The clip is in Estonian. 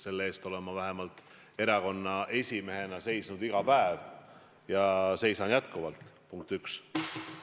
Selle eest olen ma vähemalt erakonna esimehena seisnud iga päev ja seisan jätkuvalt, punkt üks.